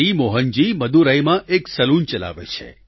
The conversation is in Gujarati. મોહનજી મદુરાઈમાં એક સલૂન ચલાવે છે